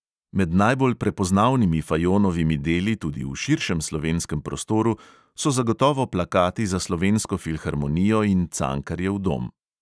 Med najbolj prepoznavnimi fajonovimi deli tudi v širšem slovenskem prostoru so zagotovo plakati za slovensko filharmonijo in cankarjev dom.